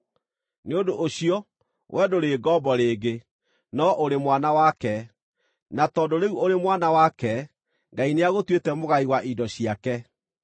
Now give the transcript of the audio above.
Nĩ ũndũ ũcio, we ndũrĩ ngombo rĩngĩ, no ũrĩ mwana wake; na tondũ rĩu ũrĩ mwana wake, Ngai nĩagũtuĩte mũgai wa indo ciake.